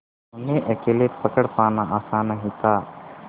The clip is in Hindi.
उन्हें अकेले पकड़ पाना आसान नहीं था